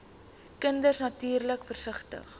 kinders natuurlik versigtig